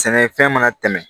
Sɛnɛfɛn mana tɛmɛ